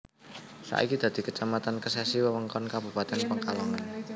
Saiki dadi Kecamatan Kesesi wewengkon Kabupatèn Pekalongan